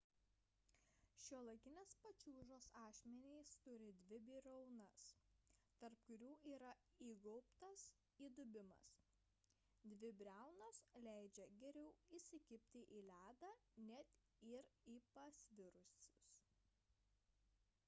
šiuolaikinės pačiūžos ašmenys turi dvi briaunas tarp kurių yra įgaubtas įdubimas dvi briaunos leidžia geriau įsikibti į ledą net ir pasvirus